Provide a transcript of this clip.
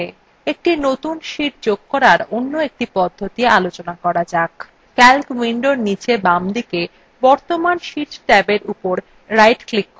একটি নতুন sheet যোগ করার অন্য একটি পদ্ধতি জানা যাক calc window নীচে বামদিকে বর্তমান sheet ট্যাবের উপর ডান ক্লিক করুন এবং insert sheet বিকল্পটি নির্বাচন করুন